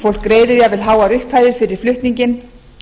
fólk greiðir jafnvel háar upphæðir fyrir flutninginn